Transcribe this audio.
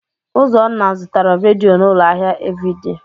Ụzọnna zụtara redio n'ụlọ ahịa Eveidee.